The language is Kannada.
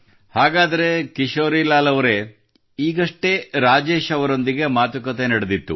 ಹಾಗಾದರೆ ಕಿಶೋರಿಲಾಲ್ ಅವರೇ ಈಗಷ್ಟೇ ರಾಜೇಶ್ ಅವರೊಂದಿಗೆ ಮಾತುಕತೆ ನಡೆದಿತ್ತು